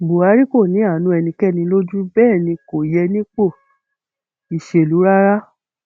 buhari kò ní àánú ẹnikẹni lójú bẹẹ ni kò yẹ nípò ìṣèlú rárá